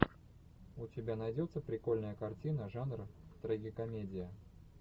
у тебя найдется прикольная картина жанра трагикомедия